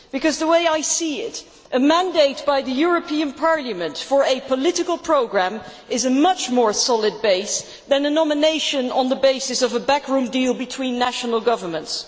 Because, the way I see it, a mandate by the European Parliament for a political programme is a much more solid base than a nomination on the basis of a backroom deal between national governments.